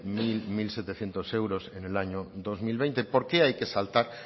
unocero unosetecientos euros en el año dos mil veinte